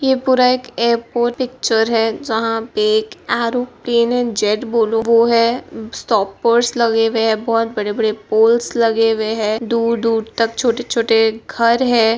ये पूरा एक एयरपोर्ट पिक्चर है जहां पे एक एयरोप्लेन वो है स्टॉप बोर्ड्स लगे हुए हैं बहुत बड़े-बड़े पोल्स लगे हुए हैं दूर-दूर तक छोटे-छोटे घर हैं।